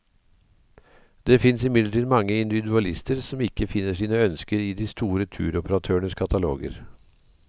Det finnes imidlertid mange individualister som ikke finner sine ønsker i de store turoperatørenes kataloger.